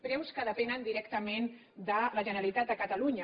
preus que depenen directament de la generalitat de catalunya